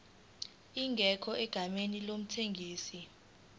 ingekho egameni lomthengisi